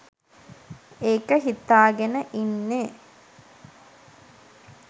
ඒක හිතාගෙන ඉන්නේ